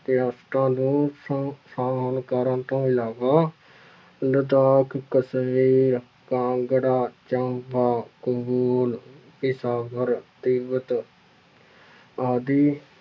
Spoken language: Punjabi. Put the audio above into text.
ਰਿਆਸਤਾਂ ਨੂੰ ਸ ਸਾਮਿਲ ਕਰਨ ਤੋਂ ਇਲਾਵਾ ਲਦਾਖ, ਕਸਮੀਰ, ਕਾਂਗੜਾ, ਚੰਬਾ ਪਿਸ਼ਾਵਰ, ਤਿੱਬਤ ਆਦਿ